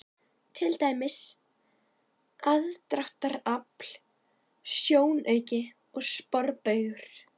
Til dæmis: aðdráttarafl, sjónauki og sporbaugur.